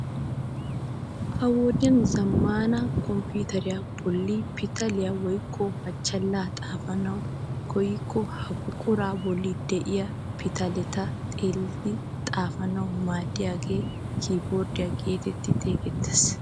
Ha'i wodiyaa zammaana komppiteriyaa bolli pitaliyaa woykko machchalaa xaafanawu koyikko ha buquraa bolli de'iyaa pitaleta xeellidi xaafanawu maaddiyaagee kiyboorddiyaa getetti xeegettees!